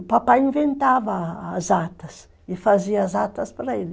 O papai inventava as atas e fazia as atas para ele.